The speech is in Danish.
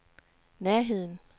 nærheden